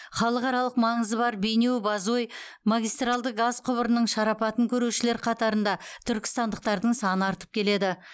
халықаралық маңызы бар бейнеу бозой магистралды газ құбырының шарапатын көрушілер қатарында түркістандықтардың саны артып келеді